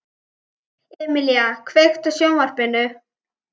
Emelía, kveiktu á sjónvarpinu.